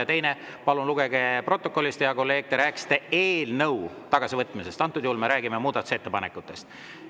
Ja teiseks, palun lugege protokollist, hea kolleeg, te rääkisite eelnõu tagasivõtmisest, aga antud juhul me räägime muudatusettepanekutest.